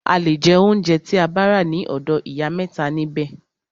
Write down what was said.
A le jẹ óunjẹ tí a bá rà ní ọ̀dọ̀ ìyá mẹ́ta nibẹ̀.